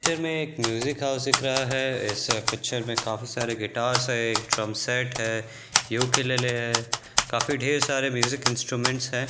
Picture में एक music house दिख रहा है इस पिक्चर में काफी सारे गिटर्स है ड्रम सेट्स है यूकेलेले है काफी ढेर सारे म्यूज़िक इंस्ट्रूमेंट्स हैं।